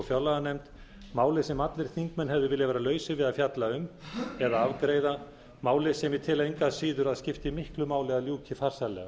fjárlaganefnd máli sem allir þingmenn hefðu viljað vera lausir við að fjalla um eða afgreiða máli sem ég tel engu að síður að skipti miklu máli að ljúka farsællega